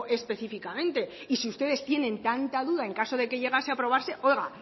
específicamente y si ustedes tienen tanta duda en caso de que llegase a aprobarse oiga